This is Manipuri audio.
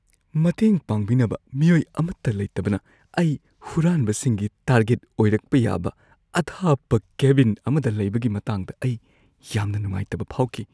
ꯃꯇꯦꯡ ꯄꯥꯡꯕꯤꯅꯕ ꯃꯤꯑꯣꯏ ꯑꯃꯠꯇ ꯂꯩꯇꯕꯅ ꯑꯩ ꯍꯨꯔꯥꯟꯕꯁꯤꯡꯒꯤ ꯇꯥꯔꯒꯦꯠ ꯑꯣꯏꯔꯛꯄ ꯌꯥꯕ ꯑꯊꯥꯞꯄ ꯀꯦꯕꯤꯟ ꯑꯃꯗ ꯂꯩꯕꯒꯤ ꯃꯇꯥꯡꯗ ꯑꯩ ꯌꯥꯝꯅ ꯅꯨꯡꯉꯥꯏꯇꯕ ꯐꯥꯎꯈꯤ꯫